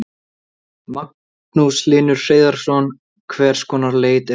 Magnús Hlynur Hreiðarsson: Hvers konar leit er þetta?